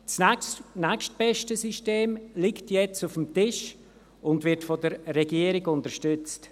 Das nächstbeste System liegt jetzt auf dem Tisch und wird von der Regierung unterstützt.